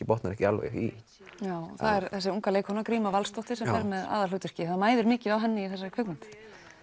botnar ekki alveg í já það er þessi unga leikkona gríma Valsdóttir sem fer með aðalhlutverkið það mæðir mikið á henni í þessari kvikmynd